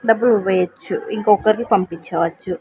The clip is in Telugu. డబ్బులు వెయొచ్చు ఇంకొకర్ని పంపించవచ్చు.